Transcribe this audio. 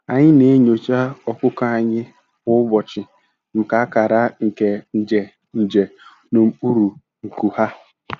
Anyị na-enyocha ọkụkọ anyị kwa ụbọchị maka akara nke nje nje n'okpuru nku ha.